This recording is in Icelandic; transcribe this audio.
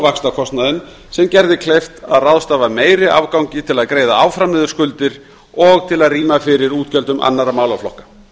vaxtakostnaðinn sem gerði okkur kleift að ráðstafa meiri afgangi til að greiða áfram niður skuldir og til að rýma til fyrir útgjöldum annarra málaflokka